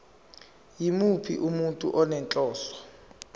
yimuphi umuntu onenhloso